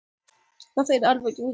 Það er aðfangadagskvöld.